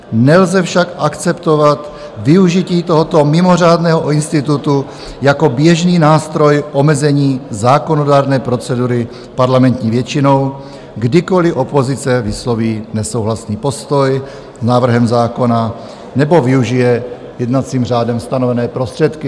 Nelze však akceptovat využití tohoto mimořádného institutu jako běžný nástroj omezení zákonodárné procedury parlamentní většinou, kdykoliv opozice vysloví nesouhlasný postoj s návrhem zákona nebo využije jednacím řádem stanovené prostředky."